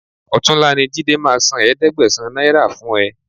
Ọ̀túnla ni Jídé máa san ẹ̀ẹ́dẹ́gbẹ̀sán náírà fún ẹ